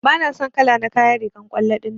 Bana son kala na kayan rigan kwallo dinnan.